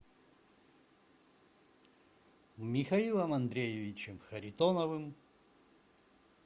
михаилом андреевичем харитоновым